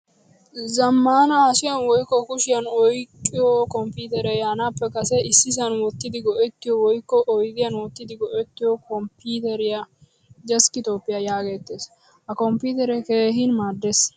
Zamaana hashshiyan woykko kushiyan oyqqiyo kompiteree yaanappe kase issisan wottidi go'ettiyo woykko oydiyan wottidi goettiyo kompiteriyaa 'deskitopiyaa' yaagetees. Ha kompitere keehin maadees.